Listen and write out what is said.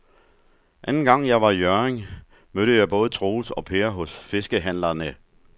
Anden gang jeg var i Hjørring, mødte jeg både Troels og Per hos fiskehandlerne.